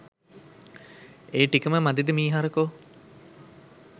ඒ ටිකම මදිද මීහරකො